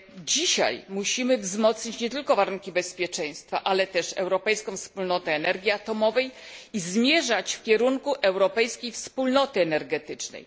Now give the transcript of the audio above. Dzisiaj musimy wzmocnić nie tylko warunki bezpieczeństwa, ale też Europejską Wspólnotę Energii Atomowej i zmierzać w kierunku europejskiej wspólnoty energetycznej.